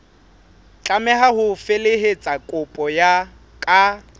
tlameha ho felehetsa kopo ka